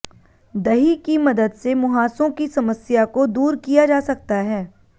दही की मदद से मुंहासों की समस्या को दूर किया जा सकता है